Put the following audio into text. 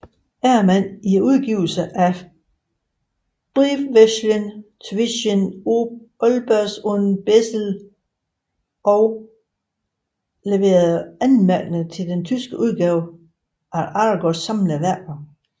Ermann i udgivelsen af Briefwechsel zwischen Olbers und Bessel og leverede anmærkninger til den tyske udgave af Aragos samlede værker